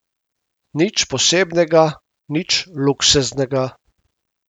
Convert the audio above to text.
Nič posebnega, nič luksuznega.